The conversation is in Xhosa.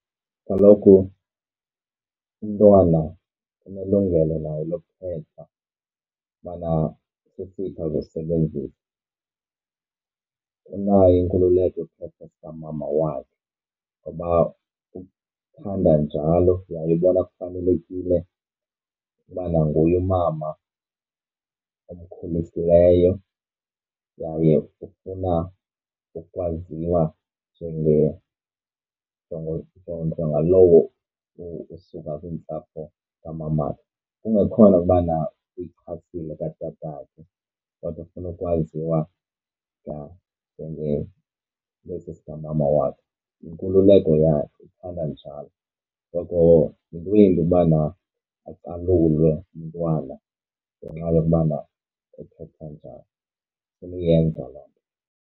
Kaloku umntwana unelungelo naye lokukhetha ubana sesiphi azosebenzisa. Unayo inkululeko yokuthetha esikamama wakhe ngoba ukuba uthanda njalo yaye ubona kufanelekile ubana nguye umama omkhulisileyo yaye ufuna ukwaziwa njengalowo usuka kwiintsapho kamamakhe. Kungekhona ubana uyichasile katatakhe kodwa ufuna ukwaziwa, yha ngesi sikamama wakhe. Yinkululeko yakhe uthanda njalo, so yinto embi ubana acalulwe umntwana ngenxa yokubana ekhetha njani. Sanuyenza loo nto.